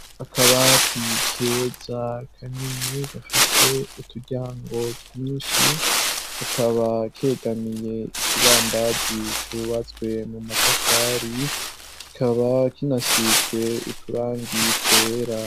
Akaba tike za kanini gafise uturyango twinshi kakaba kegamiye ikibambazi cubatswe mu matafari kikaba kinasitswe uturangi twera.